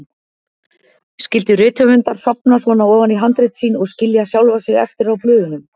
Skyldu rithöfundar sofna svona ofan í handrit sín og skilja sjálfa sig eftir á blöðunum?